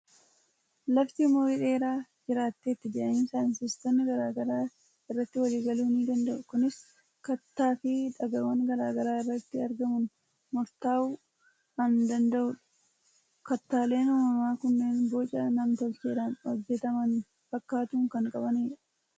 Lafti umurii dheeraa jiraatteetti jedhanii saayintistoonni garaa garaa irratti walii galuu ni danda'u. Kunis kattaa fi dhagaawwan garaa garaa irratti argamuun murtaa'uu an dana'udha. Kattaaleen uumamaa kunneen boca nam-tolcheedhaan hojjetaman fakkaatu kan qabanidha.